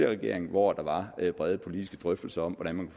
regering hvor der var brede politiske drøftelser om hvordan man